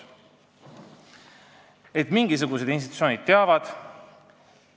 Mingisugused institutsioonid on asjaga kursis olnud.